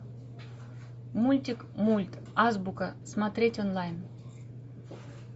мультик мульт азбука смотреть онлайн